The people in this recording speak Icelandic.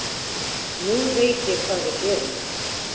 Nú veit ég hvað við gerum